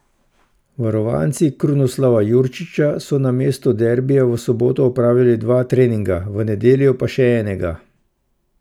Varovanci Krunoslava Jurčića so namesto derbija v soboto opravili dva treninga, v nedeljo pa še enega.